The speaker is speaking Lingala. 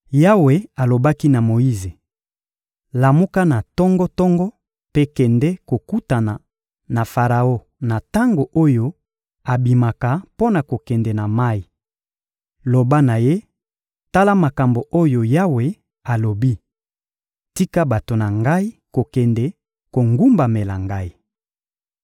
Yawe alobaki na Moyize: — Lamuka na tongo-tongo mpe kende kokutana na Faraon na tango oyo abimaka mpo na kokende na mayi. Loba na ye: «Tala makambo oyo Yawe alobi: Tika bato na Ngai kokende kogumbamela Ngai.